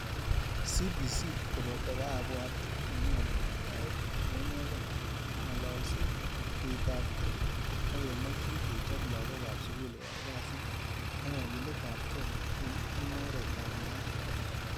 CBC koboto kaabwato nenyoolu, yaet neinegei, ng'alalseet, tuitapgei ak kemakchin kechob lagook ap sugul koyai kasiit ak kagiletap kei eng' mung'aret ap naeet.